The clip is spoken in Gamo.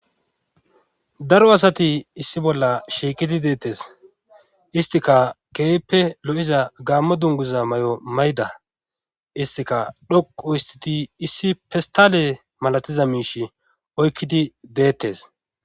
Daro asati issi bolla shiiqidi deettes istika keyppe lo,iza gaammo dunguza may,o mayda istika dhoqu histiti issi pistale malatiza miish oykkidi deettes.